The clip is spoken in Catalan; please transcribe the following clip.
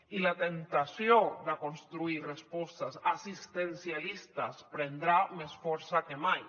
i la temptació de construir respostes assistencialistes prendrà més força que mai